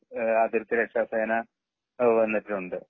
ഏഹ് അതിർത്തി രക്ഷ സേന വന്നിട്ടുണ്ട്